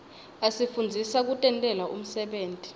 asifundzisa kutentela umsebenti